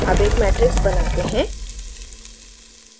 अब एक matrix बनाते हैं